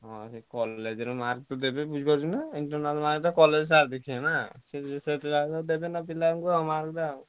ହଁ ସିଏ college ରେ mark ଦେବେ ବୁଝିପାରୁଛୁ ନାଁ internal mark ତ college sir ଦେଇଥିବେ ସିଏ ଯାହା ଦେବେ mark ପିଲାଙ୍କୁ ଆଉ।